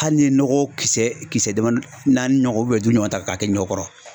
Hali n'i ye nɔgɔ kisɛ kisɛ damani naani ɲɔgɔn duuru ɲɔgɔn ta k'a kɛ ɲɔ kɔrɔ